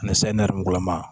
Ani sayi nɛrɛmugulama